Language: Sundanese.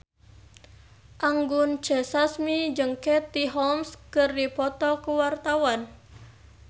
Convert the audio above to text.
Anggun C. Sasmi jeung Katie Holmes keur dipoto ku wartawan